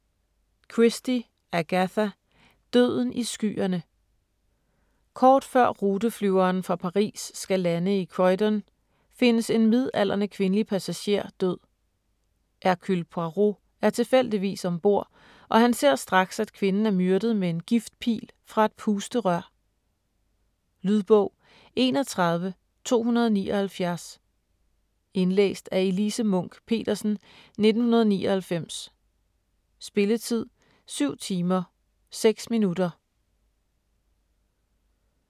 Christie, Agatha: Døden i skyerne Kort før ruteflyveren fra Paris skal lande i Croydon findes en midaldrende kvindelig passager død. Hercule Poirot er tilfældigvis om bord, og han ser straks, at kvinden er myrdet med en giftpil fra et pusterør. Lydbog 31279 Indlæst af Elise Munch-Petersen, 1999. Spilletid: 7 timer, 6 minutter.